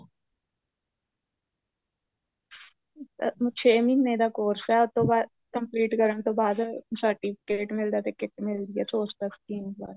ਅਹ ਛੇ ਮਹੀਨੇ ਦਾ course ਏ ਉਸ ਤੋਂ ਬਾਅਦ complete ਕਰਨ ਤੋਂ ਬਾਅਦ certificate ਮਿਲਦਾ ਤੇ kit ਮਿਲਦੀ ਏ ਸੋ ਰੁਪਿਆ ਸਕੀਮ ਨਾਲ